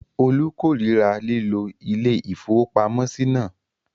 Olú korira lílo ilé-ìfowópamọ́sí náà?